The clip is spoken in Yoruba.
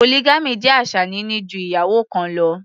Polygamy jẹ́ àṣà níní ju ìyàwó kan lọ.